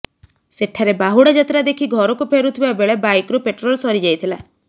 ସେଠାରେ ବାହୁଡା ଯାତ୍ରା ଦେଖି ଘରକୁ ଫେରୁଥିବା ବେଳେ ବାଇକରୁ ପେଟ୍ରୋଲ ସରିଯାଇଥିଲା